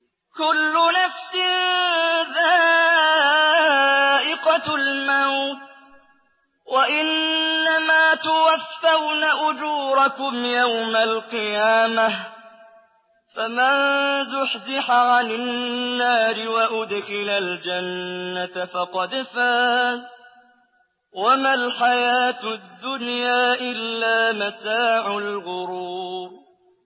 كُلُّ نَفْسٍ ذَائِقَةُ الْمَوْتِ ۗ وَإِنَّمَا تُوَفَّوْنَ أُجُورَكُمْ يَوْمَ الْقِيَامَةِ ۖ فَمَن زُحْزِحَ عَنِ النَّارِ وَأُدْخِلَ الْجَنَّةَ فَقَدْ فَازَ ۗ وَمَا الْحَيَاةُ الدُّنْيَا إِلَّا مَتَاعُ الْغُرُورِ